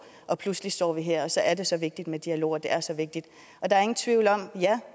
og pludselig står vi her og så er det så vigtigt med dialog og det er så vigtigt der er ingen tvivl om at ja